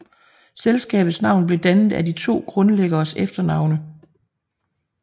Selskabets navn blev dannet af de to grundlæggeres efternavne